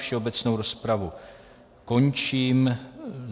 Všeobecnou rozpravu končím.